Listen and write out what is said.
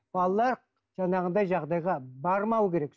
балалар жаңағыдай жағдайға бармауы керек